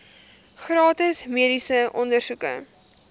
gratis mediese ondersoeke